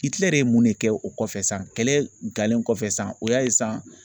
I tilarɛ ye mun de kɛ o kɔfɛ san kɛlɛ kɔfɛ san o y'a ye san